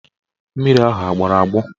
Mmiri ahụ agbọrọ agbọ?